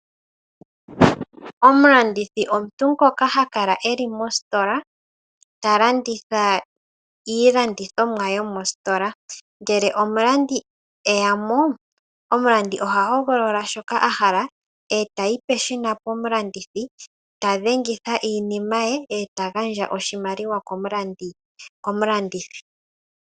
Omulandithi omuntu ngoka hakala eli mositola, talanditha iilandithomwa yomositola ngele omulandi eyamo, omulandi oha hogolola shoka ahala etayi peshina pomulandithi, tadhengitha iinima ye eta gandja oshimaliwa komulandithi.